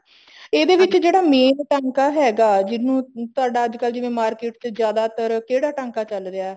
ਇਹਦੇ ਵਿੱਚ ਜਿਹੜਾ main ਟਾਂਕਾ ਹੈਗਾ ਜਿਹਨੂੰ ਤੁਹਾਡਾ ਅੱਜਕਲ ਜਿਵੇਂ market ਚ ਜਿਆਦਾਤਰ ਕਿਹੜਾ ਟਾਂਕਾ ਚੱਲ ਰਿਹਾ